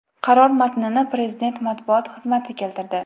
Qaror matnini Prezident matbuot xizmati keltirdi .